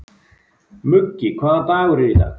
Muggi, hvaða dagur er í dag?